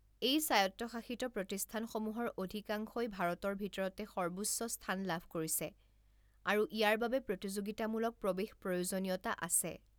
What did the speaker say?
এই স্বায়ত্তশাসিত প্ৰতিষ্ঠানসমূহৰ অধিকাংশই ভাৰতৰ ভিতৰতে সৰ্বোচ্চ স্থান লাভ কৰিছে আৰু ইয়াৰ বাবে প্ৰতিযোগিতামূলক প্ৰৱেশ প্ৰয়োজনীয়তা আছে।